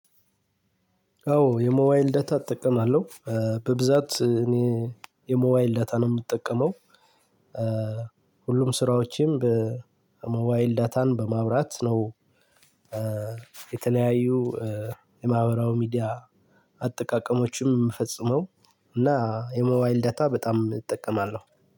አዎ የሞባይል ዳታ እጠቀማለሁ። በብዛት እኔ የሞባይል ዳታ ነው የምጠቀመው። ሁሉም ስራዎችን በሞባይል ዳታን በማብራት ነው የተለያዩ የማህበራዊ ሚዲያ አጠቃቀሞችም የሚፈጽመው እና የሞባይል ዳታ በጣም እጠቀማለሁ።